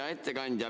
Hea ettekandja!